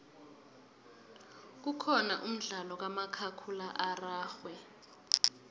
kukhona umdlalo kamakhakhulwa ararhwe